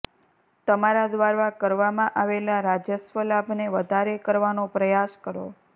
તમારા દ્વારા કરવામાં આવેલા રાજસ્વ લાભને વધારે કરવાનો પ્રયાસ કરો